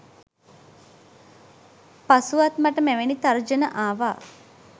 පසුවත් මට මෙවැනි තර්ජන ආවා